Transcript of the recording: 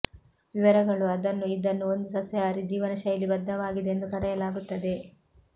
ವಿವರಗಳು ಅದನ್ನು ಇದನ್ನು ಒಂದು ಸಸ್ಯಾಹಾರಿ ಜೀವನಶೈಲಿ ಬದ್ಧವಾಗಿದೆ ಎಂದು ಕರೆಯಲಾಗುತ್ತದೆ